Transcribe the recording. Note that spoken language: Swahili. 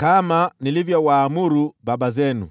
kama nilivyowaamuru baba zenu.